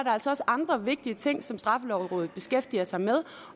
altså også andre vigtige ting som straffelovrådet beskæftiger sig med